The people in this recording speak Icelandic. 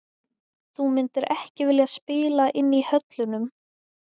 Þú myndir ekki vilja spila inn í höllunum?